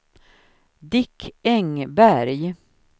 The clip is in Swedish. Dick Engberg